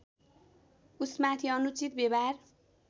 उसमाथि अनुचित व्यवहार